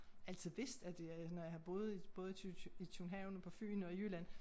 Altid vidst at jeg når jeg har boet både i køb København og på Fyn og i Jylland